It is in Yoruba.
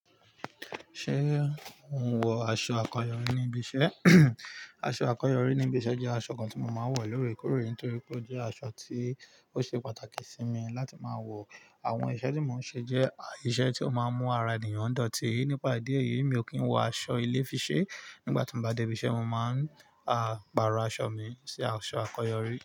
Ṣé o n wọ aṣọ akọyọrí níbi iṣẹ́? Aṣọ akọyọrí níbi iṣẹ́ jẹ́ aṣọ kan tí mo máa ń wọ lóorèkóorè torí pé ó jẹ́ aṣọ tí ó ṣe pàtàkì sí mi láti máa wọ. Àwọn iṣẹ́ tí mò ń ṣe jẹ́ iṣẹ́ tó máa ń mú ara ènìyàn dọ̀tí. Nípa ìdí èyí, mi ò kí ń wọ aṣọ ilé fi ṣe. Nígbà tí n bá dé ibi iṣẹ́, mo máa ń, a, pàrọ̀ aṣọ mi sí aṣọ akọyọrí.